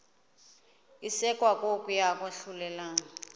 isekwa kokuya kwahlulelana